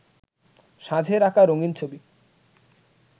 সাঁঝের আঁকা রঙিন ছবি